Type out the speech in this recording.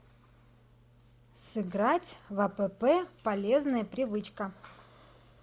сыграть в апп полезная привычка